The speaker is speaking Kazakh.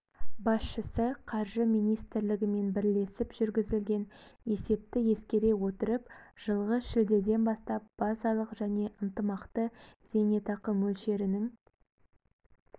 басшысы қаржы министрлігімен бірлесіп жүргізілген есепті ескере отырып жылғы шілдеден бастап базалық және ынтымақты зейнетақы мөлшерінің